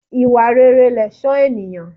Ìwà rere lẹ̀ṣọ́ ènìyàn.